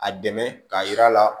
A dɛmɛ k'a yir'a la